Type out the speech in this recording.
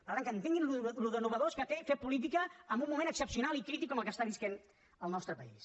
per tant que entenguin allò de nou que té fer política en un moment excepcional i crític com el que està vivint el nostre país